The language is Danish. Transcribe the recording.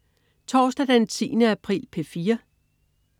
Torsdag den 10. april - P4: